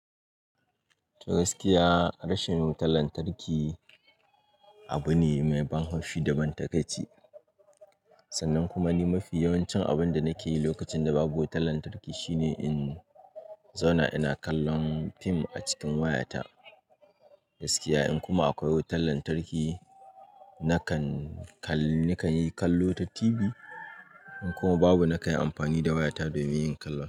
Gaskiya rashin wutar lantarki abu ne mai ban haushi da ban takaici. Sannan kuma ni mafi yawancin abun da na ke yi lokacin da babu wutar lantarki shine in zauna ina kallon fim a cikin wayata. Gaskiya in kuma akwai wutar lantarki nakan kal-- nakan yi kallo ta TV. In kuma babu na kayi amfani da wayata domin yin kallon.